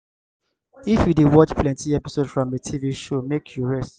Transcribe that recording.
if you dey watch plenty episode from a tv show make you rest